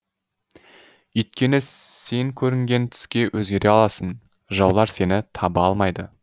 үйткені сен көрінген түске өзгере аласың жаулар сені таба алмайды